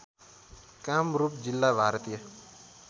कामरूप जिल्ला भारतीय